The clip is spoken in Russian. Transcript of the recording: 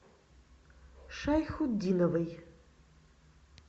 шайхутдиновой